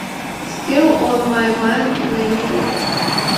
стил он май майнд на ютуб